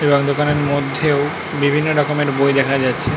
এই অন্ধকারের মধ্যেও বিভিন্ন রকমের বই দেখা যাচ্ছে।